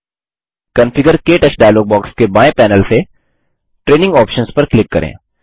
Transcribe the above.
configure - क्टच dialog box के बाएँ पैनल से ट्रेनिंग आप्शंस पर क्लिक करें